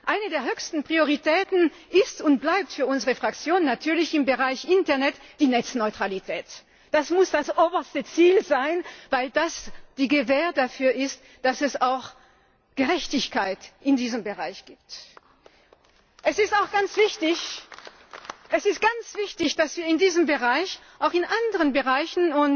Eine der höchsten Prioritäten ist und bleibt für unsere Fraktion natürlich im Bereich Internet die Netzneutralität. Das muss das oberste Ziel sein, weil das die Gewähr dafür ist, dass es auch Gerechtigkeit in diesem Bereich gibt. Es ist auch ganz wichtig, dass wir in diesem Bereich, auch in anderen Bereichen